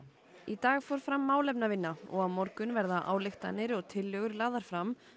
í dag fór fram málefnavinna og á morgun verða ályktanir og tillögur lagðar fram